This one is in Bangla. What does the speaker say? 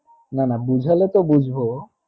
না বুঝলে তো বুঝবো